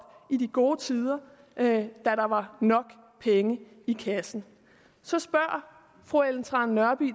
i de gode tider da der var nok penge i kassen så spørger fru ellen trane nørby